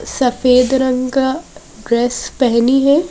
सफेद रंग का ड्रेस पहनी है।